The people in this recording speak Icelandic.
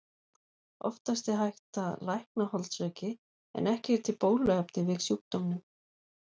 Oftast er hægt að lækna holdsveiki en ekki er til bóluefni við sjúkdómnum.